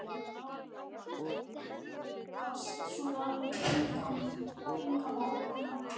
Var ekki neyðarlegt að hnýsast svona í einkamál annarra?